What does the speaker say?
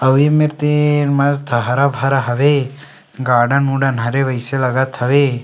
अवे में ते मस्त हरा भरा हवे गार्डन उडन हरे वैसे लागत हवे।